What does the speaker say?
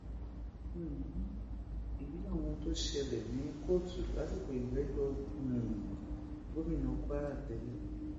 um èyí làwọn ohun tó ṣẹlẹ ní kóòtù lásìkò ìgbẹ́jọ́ um gómìnà kwara tẹ́lẹ̀